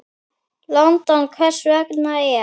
London. hvert sem er.